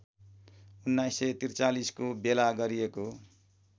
१९४३ को बेला गरिएको